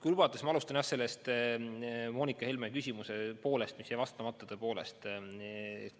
Kui lubate, siis ma alustan sellest Moonika Helme küsimusest, mis jäi vastamata, tõepoolest.